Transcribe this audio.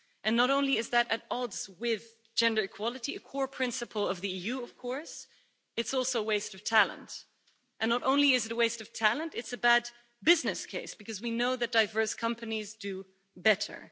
Not only is that at odds with gender equality, a core principle of the EU of course, it's also a waste of talent, and not only is it a waste of talent, it's a bad business case because we know that diverse companies do better.